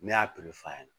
Ne y'a toli f'a ɲɛna